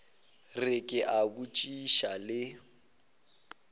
re ke a botšiša le